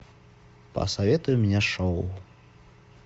посоветуй мне шоу